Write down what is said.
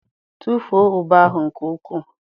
Tụfuo ube ahụ nke ukwuu